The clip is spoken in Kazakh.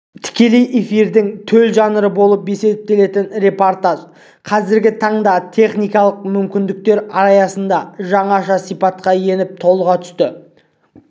тікелей эфирдің төл жанры болып есептелетін репортаж қазіргі таңдағы техникалық мүмкіндіктер аясында жаңаша сипатқа еніп толыға түсті